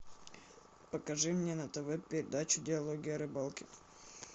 покажи мне на тв передачу диалоги о рыбалке